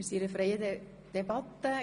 Wir führen eine freie Debatte.